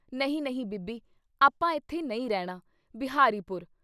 ਨਹੀਂ ਨਹੀਂ ਬੀਬੀ ! ਆਪਾਂ ਏਥੇ ਨਹੀਂ ਰਹਿਣਾ ! ਬਿਹਾਰੀ ਪੁਰ।